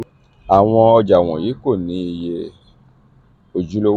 awọn ọja wọnyi ko ni iye ojulowo.